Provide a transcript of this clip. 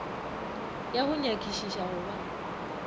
ya go nyakišiša go ba